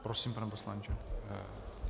Prosím, pane poslanče.